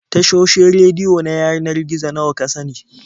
Tashoshin rediyo na yanar gizo nawa ka sani?